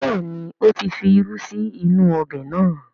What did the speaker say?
Bẹ́ẹ̀ni, ó ti fi irú sí inú ọbẹ̀ náà